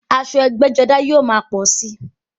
Aṣọ ẹgbẹ́-jọdá yóò máa pọ̀ síi.